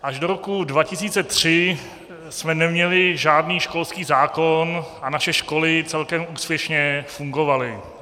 Až do roku 2003 jsme neměli žádný školský zákon a naše školy celkem úspěšně fungovaly.